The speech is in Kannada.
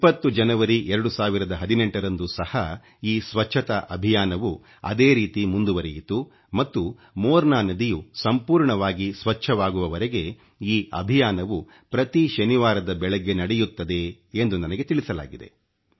20 ಜನವರಿ 2018 ರಂದು ಸಹ ಈ ಸ್ವಚ್ಚತಾ ಅಭಿಯಾನವು ಅದೇ ರೀತಿ ಮುಂದುವರೆಯಿತು ಮತ್ತು ಮೋರ್ನಾ ನದಿಯು ಸಂಪೂರ್ಣವಾಗಿ ಸ್ವಚ್ಚವಾಗುವವರೆಗೆ ಈ ಅಭಿಯಾನವು ಪ್ರತಿ ಶನಿವಾರದ ಬೆಳಗ್ಗೆ ನಡೆಯುತ್ತದೆ ಎಂದು ನನಗೆ ತಿಳಿಸಲಾಗಿದೆ